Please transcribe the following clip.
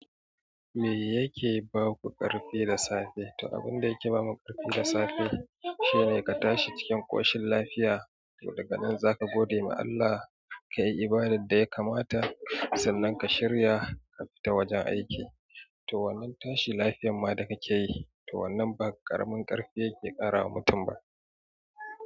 Me yake ba ku ƙarfi da safe? To abun da yake ba mu ƙarfi da safe shine ka tashi cikin ƙoshin lafiya, to daga nan za ka gode ma Allah, ka yi ibadar da ya kamata, sannan ka shirya ka fita wajen aiki. To wannan tashi lafiyan ma da ka ke yi, to wannan ba ƙaramin ƙarfi yake kara wa mutum ba.